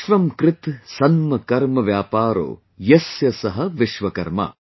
सन्म कर्म व्यापारो यस्य सः विश्वकर्मा'